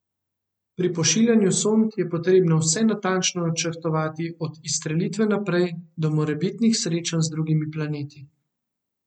Pri pošiljanju sond je potrebno vse natančno načrtovati od izstrelitve naprej do morebitnih srečanj z drugimi planeti.